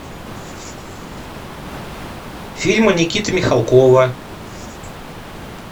фильмы никиты михалкова